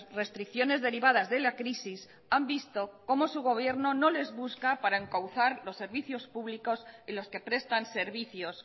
restricciones derivadas de la crisis han visto cómo su gobierno no les busca para encauzar los servicios públicos y los que prestan servicios